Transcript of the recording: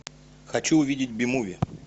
хочу увидеть би муви